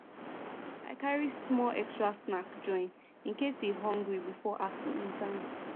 i carry small extra snack join in case e hungry before afternoon time